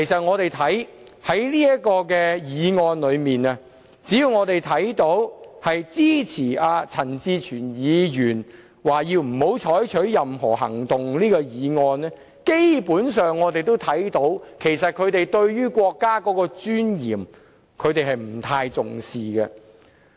我們從這項議案可以看到，只要是支持陳志全議員提出的這項不要採取任何行動的議案的議員，基本上他們對於國家的尊嚴不太重視。